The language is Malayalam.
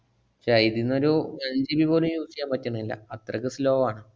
ക്ഷെ ഇതീന്നൊരു tenGB പോലും use ഇയ്യാന്‍ പറ്റണില്ല, അത്രക്കും slow ആണ്.